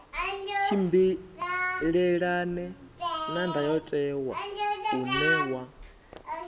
tshimbilelane na ndayotewa une wa